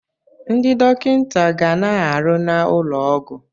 Ndị dọkịta ga na-arụ n'ụlọ ọgwụ.